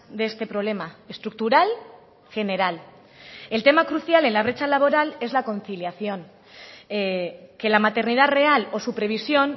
de este problema estructural general el tema crucial en la brecha laboral es la conciliación que la maternidad real o su previsión